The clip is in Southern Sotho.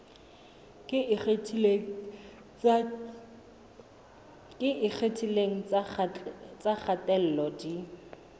tse ikgethileng tsa kgatello di